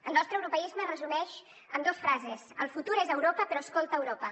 el nostre europeisme es resumeix en dos frases el futur és a europa però escolta europa